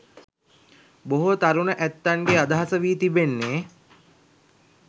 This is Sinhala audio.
බොහෝ තරුණ ඇත්තන්ගේ අදහස වී තිබෙන්නේ